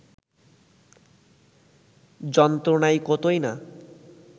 যন্ত্রণায় কতই না